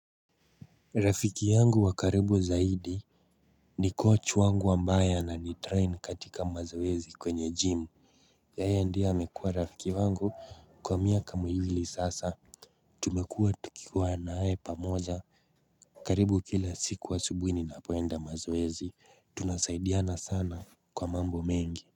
Rafiki yangu wa karibu zaidi ni coach wangu ambaye ananitrain katika mazoezi kwenye gym. Yeye ndiye amekuwa rafiki wangu kwa miaka miwili sasa Tumekua tukiwa naye pamoja karibu kila siku asubuhi ninapoenda mazoezi. Tunasaidiana sana kwa mambo mengi.